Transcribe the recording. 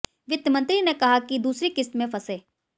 वित्त मंत्री ने कहा कि दूसरी किस्त में फंसे